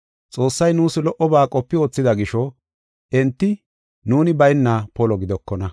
Xoossay nuus lo77oba qopi wothida gisho enti nuuni bayna polo gidokona.